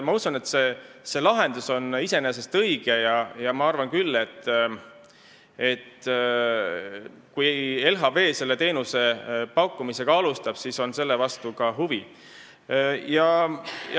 Ma usun, et see lahendus on iseenesest õige, ja ma arvan, et kui LHV selle teenuse pakkumisega alustab, siis on selle vastu ka huvi.